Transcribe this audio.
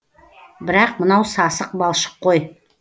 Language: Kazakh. бірақ мынау сасық балшық қой